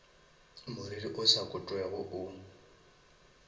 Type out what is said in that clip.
moriri o sa kotwego o